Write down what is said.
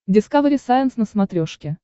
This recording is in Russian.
дискавери сайенс на смотрешке